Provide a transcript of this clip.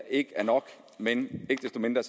ikke er nok men ikke desto mindre